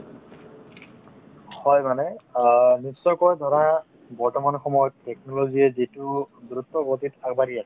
হয় মানে অ নিশ্চয়কৈ ধৰা বৰ্তমান সময়ত technology য়ে যিটো দ্ৰুত গতিত আগবাঢ়ি আছে